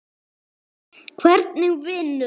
Hvernig vinnu?